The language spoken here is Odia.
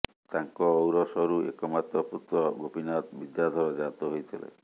ତାଙ୍କ ଔରସରୁ ଏକମାତ୍ର ପୁତ୍ର ଗୋପୀନାଥ ବିଦ୍ୟାଧର ଜାତ ହୋଇଥିଲେ